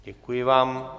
Děkuji vám.